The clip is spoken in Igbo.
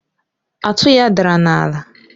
atụ ya dara n'ala